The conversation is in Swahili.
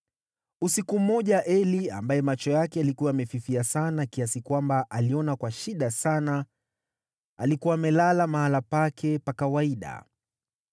Usiku mmoja Eli, ambaye macho yake yalikuwa yamefifia sana kiasi kwamba aliona kwa shida sana, alikuwa amelala mahali pake pa kawaida.